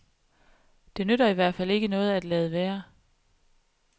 Det nytter i hvert fald ikke noget at lade være.